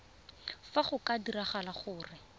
fa go ka diragala gore